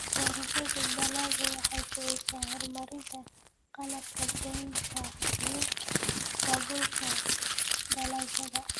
Beerashada dalaggu waxay kicisaa horumarinta qalabka goynta iyo daabulka dalagyada.